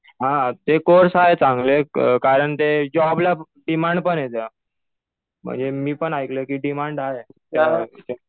हा. ते कोर्स आहे चांगले. कारण ते जॉबला डिमांड पण आहे त्या. म्हणजे मी पण ऐकलंय कि डिमांड आहे.